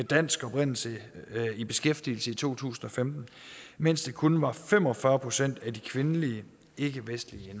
dansk oprindelse i beskæftigelse i to tusind og femten mens det kun var fem og fyrre procent af de kvindelige ikkevestlige